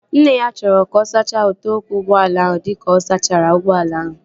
Nne ya chọrọ ka ọ sachaa ute ụkwụ ụgbọala ahụ dịka ọ sachara ụgbọala ahụ